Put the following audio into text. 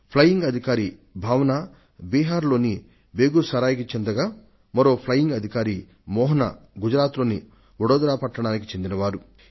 flying officer Bhawana Bihar లోని బేగూసరాయ్ నుండి వచ్చారు ఇక మరో ఫ్లయింగ్ ఆఫీసర్ మోహన గుజరాత్ లోని వడోదరా కు చెందిన వారు